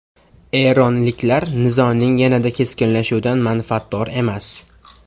Eronliklar nizoning yanada keskinlashuvidan manfaatdor emas.